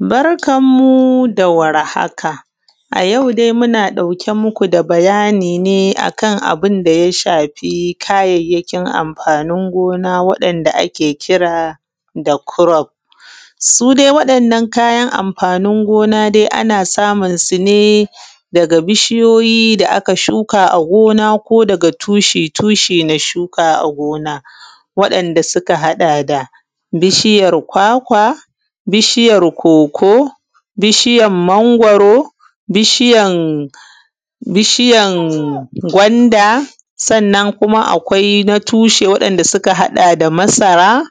Barkan mu da warhaka a yau dai muna ɗauk muku da bayani ne akan a bunda ya shafi kayyakin amfanin gona waɗan da akekira da kurof. Su dai wannan kayan mafanin gona dai ana samun sune daga bishiyoyi da aka shuka a gona ko daga tushe na shuka a gona wadan da suka haɗa da bishiyar kwakwa, bishiyar koko, bishiyar mangwaro, bishiyan gwana. Sannan kuma akwai na tushe wanda suka haɗa da masara,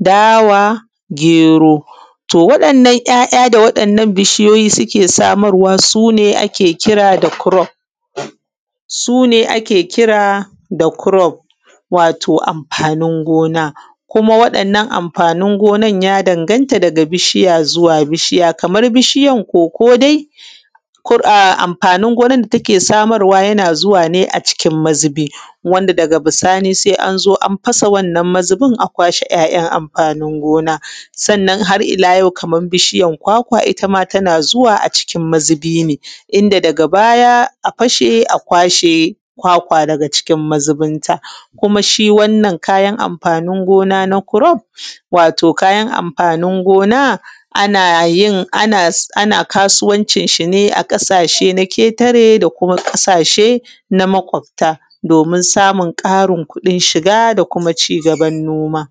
dawa, gero. To waɗannan ‘ya’’ya’ da waɗannan bishiyoyi suke samarwa sune sune a ke kira da kurof, wato amfanin gona kuma waɗannan amfanin gonan ya danganta daga bishiya suwa bishiya. Kamar biyan koko dai amfanin gonar da take samarwa yana zuwa ne a cikin mazubi wanda daga bisani sai anzo an fasa wannan mazubin a kwashe a kwashe ‘ya’yan’ amfanin gona. Sannan ahar’ila yau Kaman bishiyan kwakwa ittam atan zuwa a cikin mazubi ne inda daga baya a fashe a kwashe kwakwa daga cikin mazubinta, kuma shi wanna kayan amfanin gona na kurof wato kayan amfanin gona anayin kasuwancin shine a ƙasashen ƙetare da kuma ƙasashe na makwafta domin ƙari samun kuɗin shiga da kuma cigaban noma